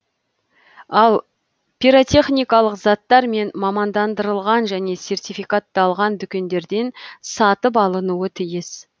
ал пиротехникалық заттар тек мамандандырылған және сертификатталған дүкендерден сатып алынуы тиіс